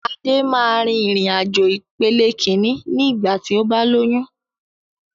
Adé máa rìn-ìrìn àjò ìpele Kínní ni igba ti o ba lóyún